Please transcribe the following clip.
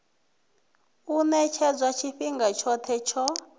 u ṅetshedzwa tshifhinga tshoṱhe tsho